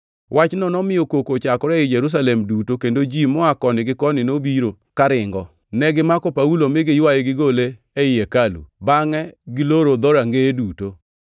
Wachno nomiyo koko ochakore ei Jerusalem duto, kendo ji moa koni gi koni nobiro karingo. Negimako Paulo mi giywaye gigole ei hekalu, bangʼe giloro dhorangeye duto.